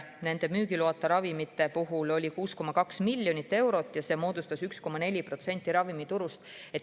Nende müügiloata ravimite käive oli 6,2 miljonit eurot ja see moodustas 1,4% ravimiturust.